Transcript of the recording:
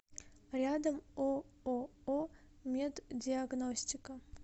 рядом ооо меддиагностика